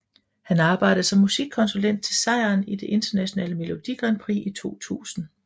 Han arbejdede som musikkonsulent til sejren i det internationale Melodi Grand Prix i 2000